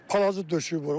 Palazı döşüyüb o.